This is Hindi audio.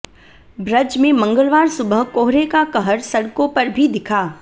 ब्रज में मंगलवार सुबह कोहरे का कहर सडक़ों पर भी दिखा